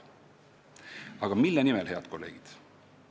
Aga mille nimel, head kolleegid?